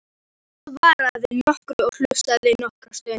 Hann svaraði og hlustaði nokkra stund.